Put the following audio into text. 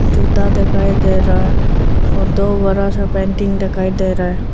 जूता दिखाई दे रहा है और दो बड़ा सा पेंटिंग दिखाई दे रहा है।